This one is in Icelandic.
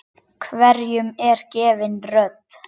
Hverjum er gefin rödd?